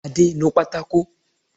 Adé, nu pátákò!